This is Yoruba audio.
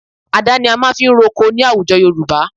Àdá ni a fi máa ń ro oko ní àwùjọ Yorùbá